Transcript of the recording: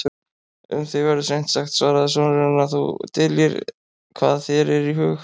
Um þig verður seint sagt, svaraði sonurinn,-að þú dyljir hvað þér er í hug.